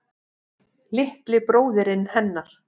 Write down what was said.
Litli bróðirinn hennar.